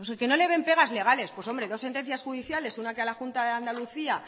que no le ven pegas legales pues hombre dos sentencias judiciales una que a la junta de andalucía